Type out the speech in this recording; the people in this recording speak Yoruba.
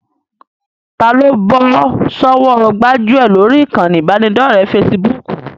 Taa ló bọ́ sọ́wọ́ gbájúẹ̀ lórí ìkànnì ìbánidọ́ọ̀rẹ́ fesibúùkù?